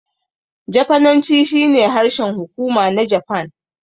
Jafananci shine harshen hukuma na Japan.